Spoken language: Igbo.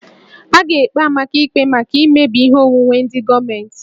A ga-ekpe Amaka ikpe maka imebi ihe onwunwe ndị gọọmentị